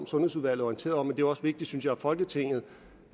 sundhedsudvalget orienteret om men det er også vigtigt synes jeg at folketinget